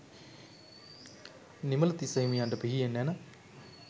නිමලතිස්ස හිමියන්ට පිහියෙන් ඇන